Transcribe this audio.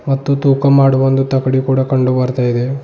ಮತ್ತು ತೂಕ ಮಾಡುವ ಒಂದು ತಕಡಿ ಕೂಡ ಕಂಡು ಬರ್ತಾ ಇದೆ.